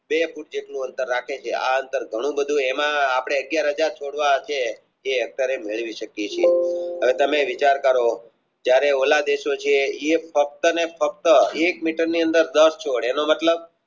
બે ફૂટ જેટલું અંતર રાખે છે આ અંતર ઘણું બધું તેમાં અપને અગિયાર હાજર છોડવા જે અત્યરે મેળવી શકીયે છીએ હવે તમે વિચાર કરો જયારે All દેશો છે એ ફક્ત ને ફક્ત એક meter ની અંદર દસ છોડ એટલે કે